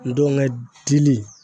Ndɔngɛ dili